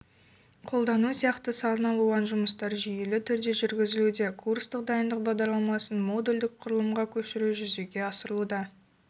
қолдану сияқты саналуан жұмыстар жүйелі түрде жүргізілуде курстық дайындық бағдарламасын модульдік құрылымға көшіру жүзеге асырылуда